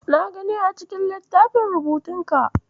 Na gani a cikin littafin rubutunka.